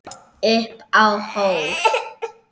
Upp á hól